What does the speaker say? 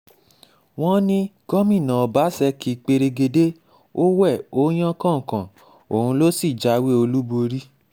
wọ́n ní gómìnà ọbaṣekì pẹ̀rẹ̀gẹ̀dẹ̀ ó wé ó yan kàn-kàín òun sí ló jáwé olúborí